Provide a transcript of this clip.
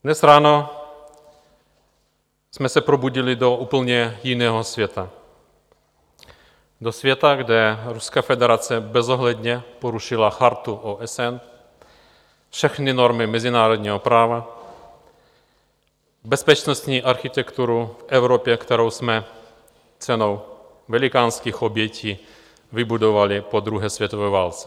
Dnes ráno jsme se probudili do úplně jiného světa, do světa, kde Ruská federace bezohledně porušila Chartu OSN, všechny normy mezinárodního práva, bezpečnostní architekturu v Evropě, kterou jsme cenou velikánských obětí vybudovali po druhé světové válce.